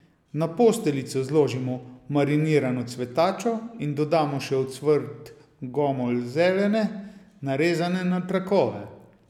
Na posteljico zložimo marinirano cvetačo in dodamo še ocvrt gomolj zelene, narezane na trakove.